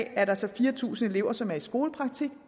er der så fire tusind elever som er i skolepraktik